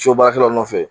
So baarakɛlaw nɔfɛ